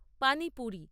পানি পুরী